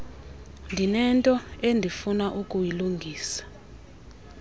ndinento endifuna ukuyilungisa